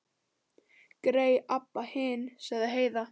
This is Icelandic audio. Grey Abba hin, sagði Heiða.